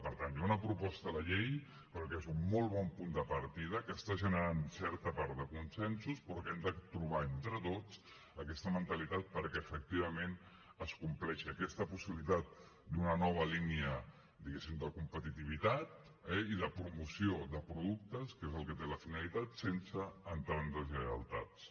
per tant hi ha una proposta de llei però que és un molt bon punt de partida que està generant certa part de consensos però que hem de trobar entre tots aquesta mentalitat perquè efectivament es compleixi aquesta possibilitat d’una nova línia diguéssim de competitivitat eh i de promoció de productes que és el que té la finalitat sense entrar en deslleialtats